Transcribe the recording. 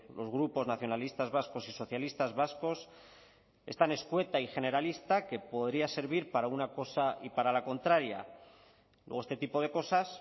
los grupos nacionalistas vascos y socialistas vascos es tan escueta y generalista que podría servir para una cosa y para la contraria luego este tipo de cosas